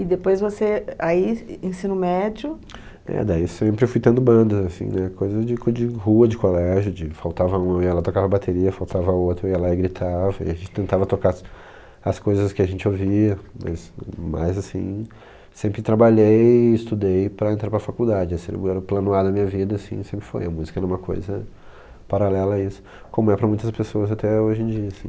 E depois você, eh, aí, e ensino médio... É, daí sempre eu fui tendo bandas, assim, né, coisa de co de rua, de colégio, de faltava um, eu ia lá tocava bateria, faltava outro, eu ia lá e gritava, e a gente tentava tocar as as coisas que a gente ouvia, mas, mas assim, sempre trabalhei e estudei para entrar para faculdade, esse era o era o plano A da minha vida, assim, sempre foi, a música era uma coisa paralela a isso, como é para muitas pessoas até hoje em dia, assim.